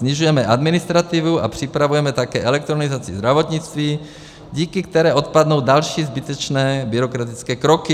Snižujeme administrativu a připravujeme také elektronizaci zdravotnictví, díky které odpadnou další zbytečné byrokratické kroky.